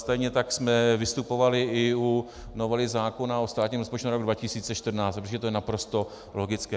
Stejně tak jsme vystupovali i u novely zákona o státním rozpočtu na rok 2014, protože to je naprosto logické.